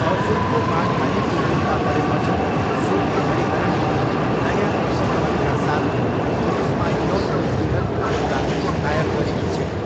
अर्जुनको मानहानिको मुद्दा परेपछि श्रुति हरिहरनले नयाँ प्रसङ्गहरूका साथ पुलिसमा यौन उत्पीडनको मुद्दा दायर गरेकी छिन्।